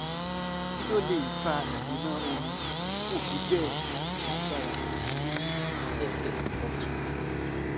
kí ló lè fa ìgbóná ooru tí kò fi bẹ́ẹ̀ lágbára ní ẹsẹ̀ ọ̀tún?